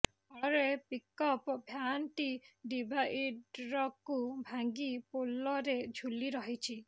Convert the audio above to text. ଫଳରେ ପିକଅପ୍ ଭ୍ୟାନଟି ଡିଭାଇଡରକୁ ଭାଙ୍ଗି ପୋଲରେ ଝୁଲି ରହିଛି